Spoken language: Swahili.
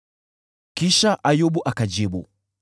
Kisha Ayubu akajibu: